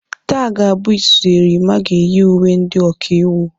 Taa ga-abụ izizi Erimma ga-eyi uwe ndị ọkaiwu.